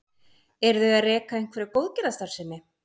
Eru þau að reka einhverja góðgerðastarfsemi?